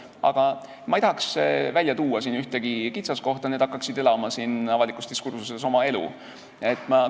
Aga ma ei tahaks välja tuua ühtegi kitsaskohta, sest need hakkaksid avalikus diskursuses oma elu elama.